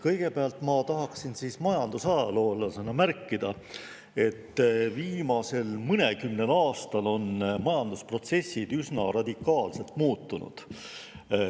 Kõigepealt tahaksin majandusajaloolasena märkida, et viimase mõnekümne aastaga on majandusprotsessid üsna radikaalselt muutunud.